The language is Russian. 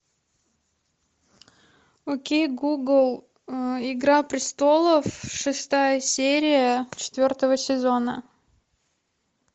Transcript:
окей гугл игра престолов шестая серия четвертого сезона